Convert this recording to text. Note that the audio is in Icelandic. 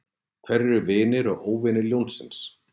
Hverjir eru vinir og óvinir ljónsins?